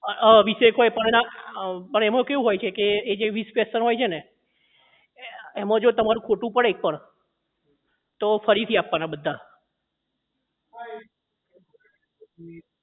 અ વીસ એક હોય પણ એમાં અ કેવું હોય છે કે પણ જે એ વીસ question હોય છેને એમાં જો તમારું ખોટું પડે એક પણ તો ફરીથી આપવાના બધાં